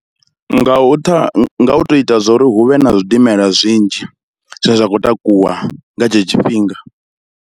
Nga nga u to ita zwo ri hu vhe na zwidimela zwinzhi zwine zwa khou takuwa nga tshetsho tshifhinga.